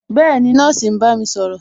Bẹẹni, nọ́ọ̀sì ń bá mi sọ̀rọ̀